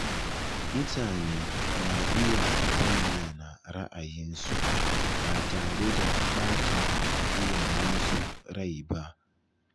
Mutane na iya bayyana ra’ayinsu ba tare da ɓata wa iyayensu rai ba.